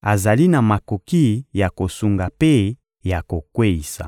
azali na makoki ya kosunga mpe ya kokweyisa.